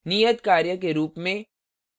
नियतकार्य के रूप में